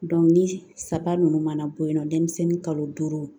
ni saba ninnu mana bɔ yen nɔ denmisɛnnin kalo duuru